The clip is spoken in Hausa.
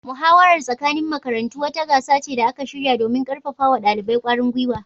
Muhawarar tsakanin makarantu wata gasa ce da aka shirya domin karfafa wa dalibai kwarin gwiwa